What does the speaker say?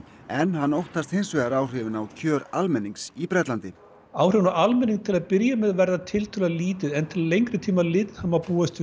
en hann óttast hins vegar áhrifin á kjör almennings í Bretlandi áhrifin á almenning til að byrja með verða tiltölulega lítil en til lengri tíma litið má búast við